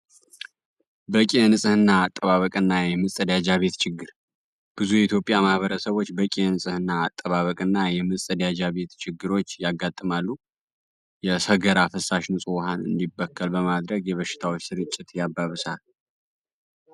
በቂ የንጽህና አጠባበቅ እና የምፀዳጃ ቤት ችግር ብዙ የኢትዮጵያ ማህበረሰቦች በቂ ንፅህና አጠባበቅ እና የምጸዳጃ ቤት ችግሮች ያጋጥማሉ የሰገራ ፈሳሽ ንጹህ ውሃን እንዲበከል በማድረግ የበሽታዎች ስርጭት ያባብሳል።